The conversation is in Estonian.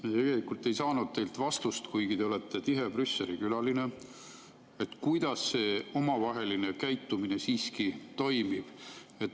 Me tegelikult ei saanud teilt vastust, kuigi te olete tihe Brüsseli külaline, kuidas see omavaheline käitumine siiski toimib.